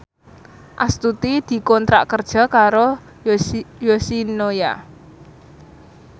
Astuti dikontrak kerja karo Yoshinoya